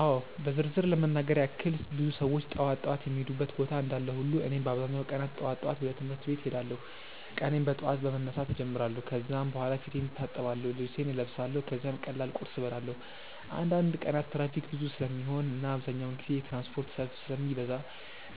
አዎ በዝርዝር ለመናገር ያክል ብዙ ሰዎች ጠዋት ጠዋት የሚሄዱበት ቦታ እንዳለ ሁሉ እኔም በአብዛኛው ቀናት ጠዋት ወደ ትምህርት ቤት እሄዳለሁ። ቀኔን በጠዋት በመነሳት እጀምራለሁ ከዚያ በኋላ ፊቴን እታጠብአለሁ፣ ልብሴን እለብሳለሁ ከዚያም ቀላል ቁርስ እበላለሁ። አንዳንድ ቀናት ትራፊክ ብዙ ስለሚሆን እና አብዛኛውን ጊዜ የትራንስፖርት ሰልፍ ስለሚበዛ